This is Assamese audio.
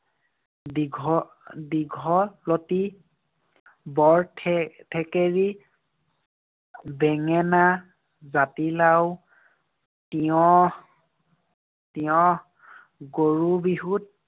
দীঘ~ দীঘলতী, বৰথে~ থেকেৰী, বেঙেনা, জাতিলাও, তিঁয়হ তিঁয়হ, গৰু বিহুত